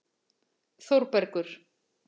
Þórbergur